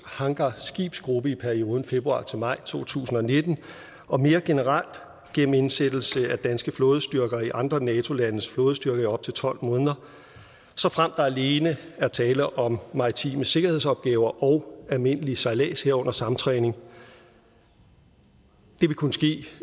hangarskibsgruppe i perioden februar til maj to tusind og nitten og mere generelt gennem indsættelse af danske flådestyrker i andre nato landes flådestyrker i op til tolv måneder såfremt der alene er tale om maritime sikkerhedsopgaver og almindelig sejlads herunder samtræning det vil kunne ske